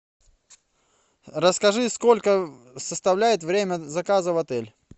расскажи сколько составляет время заказа в отель